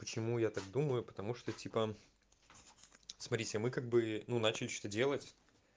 почему я так думаю потому что типа смотрите мы как бы ну начали что-то делать